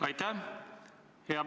Aitäh!